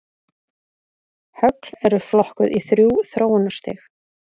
Högl eru flokkuð í þrjú þróunarstig.